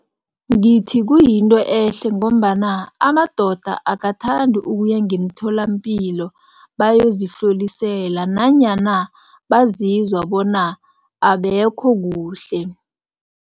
Ngithi kuyinto ehle ngombana amadoda akathandi ukuya ngemtholampilo bayozihlolisela nanyana bazizwa bona abekho kuhle.